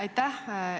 Aitäh!